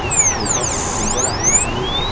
एक छोट फुटबाॅल आहे आणि एक--